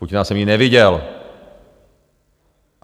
Putina jsem nikdy neviděl.